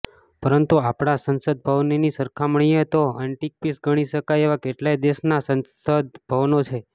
પરંતુ આપણા સંસદભવનની સરખામણીએ તો એન્ટિક પીસ ગણી શકાય એવાં કેટલાય દેશોનાં સંસદભવનો છે